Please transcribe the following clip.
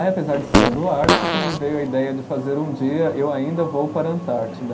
Aí, apesar de ser do Ártico, me veio a ideia de fazer um dia eu ainda vou para a Antártida.